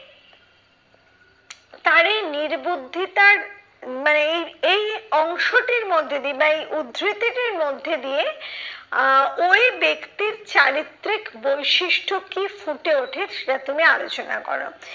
তার এই নির্বুদ্ধিতার মানে এই এই অংশটির মধ্যে দিয়ে বা এই উদ্ধৃতিটির মধ্যে দিয়ে আহ ওই ব্যক্তির চারিত্রিক বৈশিষ্ট কি ফুটে ওঠে সেটা তুমি আলোচনা করো।